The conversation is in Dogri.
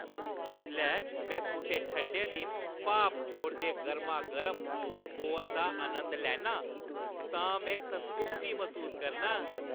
जिसलै में कुसै ठंडे दिन भाप छोड़दे गर्मागर्म कोकोआ दा नंद लैन्ना आं तां में संतुश्टी मसूस करनां ।